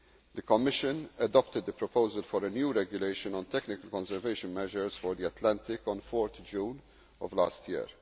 The Commission adopted the proposal for a new Regulation on technical conservation measures for the Atlantic on 4 June of last year.